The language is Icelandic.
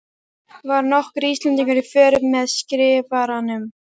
Var nokkur Íslendingur í för með Skrifaranum?